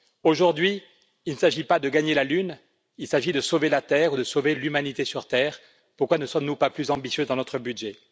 Aujourd'hui, il ne s'agit pas de gagner la lune, il s'agit de sauver la terre ou de sauver l'humanité sur terre. Pourquoi ne sommes nous pas plus ambitieux dans notre budget?